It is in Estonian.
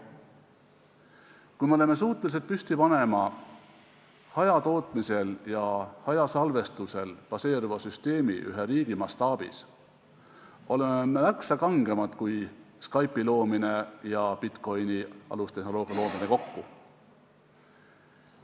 Kui me oleme suutelised püsti panema hajatootmisel ja hajasalvestusel baseeruva süsteemi ühe riigi mastaabis, siis on see märksa kangem tegu kui Skype'i loomine ja bitcoin'i alustehnoloogia loomine kokku.